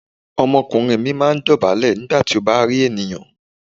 Ọmọkùnrin mi máa dọ̀bálẹ̀ nígbà tí ó bá kí ènìyàn.